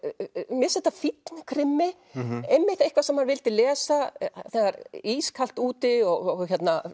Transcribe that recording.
mér finnst þetta fínn krimmi eitthvað sem maður vildi lesa þegar er ískalt úti og